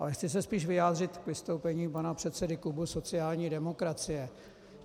Ale chci se spíš vyjádřit k vystoupení pana předsedy klubu sociální demokracie.